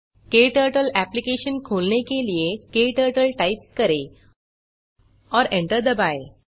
क्टर्टल application खोलने के लिए क्टर्टल टाइप करें और एंटर दबाएँ